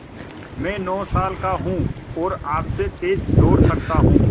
मैं नौ साल का हूँ और आपसे तेज़ दौड़ सकता हूँ